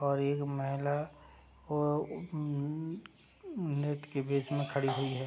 और ये महिला अ ऊ नृत्य के भेष में खड़ी हुई है।